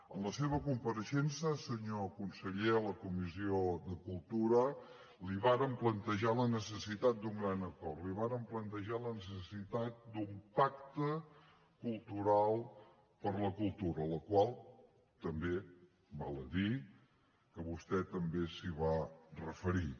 en la seva compareixença senyor conseller a la comissió de cultura li vàrem plantejar la necessitat d’un gran acord li vàrem plantejar la necessitat d’un pacte cultural per la cultura a la qual també val a dir que vostè es va referir